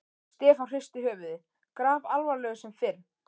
Stefán hristi höfuðið, grafalvarlegur sem fyrr.